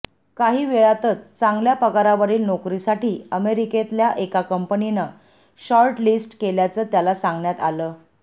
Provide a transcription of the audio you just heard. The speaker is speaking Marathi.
काही वेळातच चांगल्या पगारावरील नोकरीसाठी अमेरिकेतल्या एका कंपनीनं शॉर्ट लिस्ट केल्याचं त्याला सांगण्यात आलं